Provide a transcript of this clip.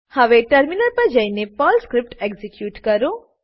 હવે ટર્મિનલ પર જઈને સ્ક્રીપ્ટ એક્ઝીક્યુટ કરો